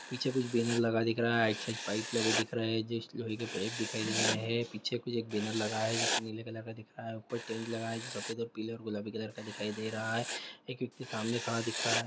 पीछे कुछ बैनर लगा दिख रहा है एक साइड पाइप लगे दिख रहे है जैस्ट लोहे के पाइप दिखाई दे रहे हैं पीछे कुछ एक बैनर लगा है जो नीले कलर का दिख रहा है ऊपर टेंट लगा है जो सफेद और पिले और गुलाबी कलर का दिखाई दे रहा है एक व्यक्ति सामने खड़ा दिख रहा है।